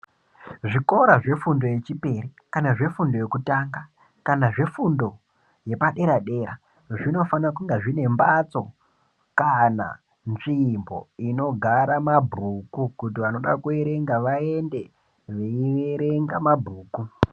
Zvikora zvefundo yechipiri, kana zvefundo yekutanga kana zvefundo yepadera dera. Zvinofana kunge zvine mbatso kana nzvimbo inogara mabhuku kuti vanoda kuerenga vaende veierenga mabhuku.